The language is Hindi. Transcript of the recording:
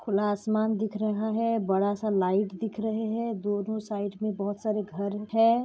खुला आसमान दिख रहा है बड़ा सा लाइट दिख रहे है दोनो साइड मे बहुत सारे घर है।